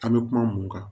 An bɛ kuma mun kan